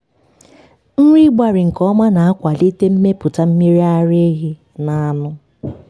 nri ịgbarị nke ọma na-akwalite mmepụta mmiri ara ehi na anụ.